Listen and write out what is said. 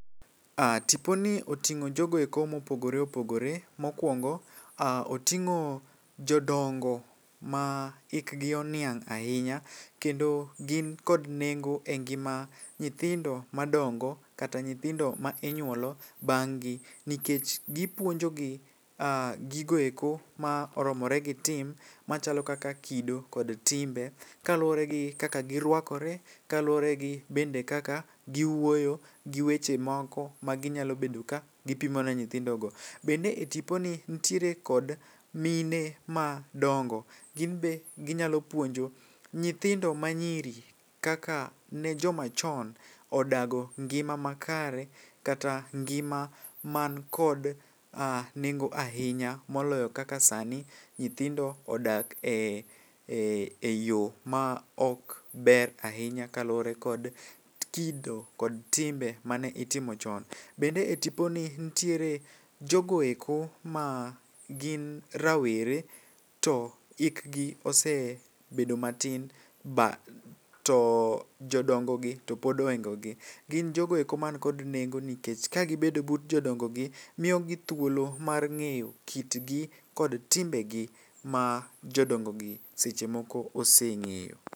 Tiponi oting'o jogoeko mopogore opogore, mokwongo oting'o jodongo ma ikgi oniang' ahinya. Kendo gin kod nengo e ngima nyithindo ma dongo kata nyithindo ma inyuolo bang' gi. Nikech gipuonjo gi gigoeko ma oromore gi tim, machalo kaka kido kod timbe. Kaluwore gi kaka girwakore, kaluwore gi bende kaka giwuoyo gi weche moko ma ginyalo bedo ka gipimo ne nyithindo go. Bende e tipo ni nitiere kod mine ma dongo, gin be ginyalo puonjo nyithindo ma nyiri kaka ne joma chon odago ngima ma kare, kata ngima man kod nengo ahinya. Moloyo kaka sani nyithindo odak e yo ma ok ber ahinya kaluwore kod kido kod timbe mane itimo chon. Bende e tipo ni nitiere jogoeko ma gin rawere to ikgi ose bedo matin ba. To jodongo gi to pod ohingo gi, gin jogoeko man kod nengo nikech ka gibedo but jodongo gi, miyo gi thuolo mar ng'eyo kitgi kod timbe gi ma jodongo gi seche moko oseng'eyo.